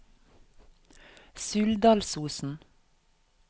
Suldalsosen